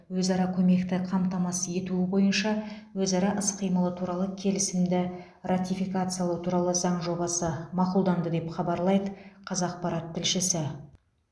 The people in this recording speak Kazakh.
өзара көмекті қамтамасыз ету бойынша өзара іс қимылы туралы келісімді ратификациялау туралы заң жобасы мақұлданды деп хабарлайды қазақпарат тілшісі